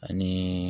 Ani